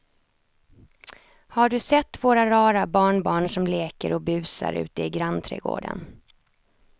Har du sett våra rara barnbarn som leker och busar ute i grannträdgården!